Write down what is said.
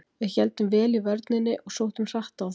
Við héldum vel í vörninni og sóttum hratt á þá.